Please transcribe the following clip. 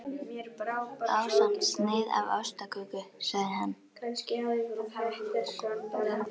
Jóhannes: Og var það raunin í þessu máli?